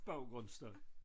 Baggrundsstøj